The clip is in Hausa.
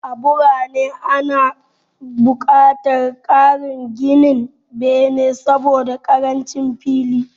A birane, ana buƙatar ƙarin ginin bene saboda ƙarancin fili.